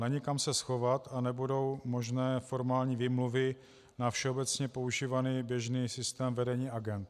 Není kam se schovat a nebudou možné formální výmluvy na všeobecně používaný běžný systém vedení agend.